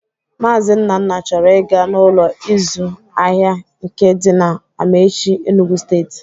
Maazi Nnanna chọrọ ị ga n'Ụlọ ịzụ ahịa nke dị na Amaechi, Enugwu steeti